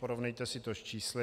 Porovnejte si to s čísly.